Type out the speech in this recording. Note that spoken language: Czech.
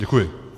Děkuji.